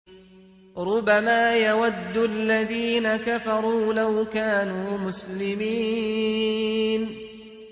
رُّبَمَا يَوَدُّ الَّذِينَ كَفَرُوا لَوْ كَانُوا مُسْلِمِينَ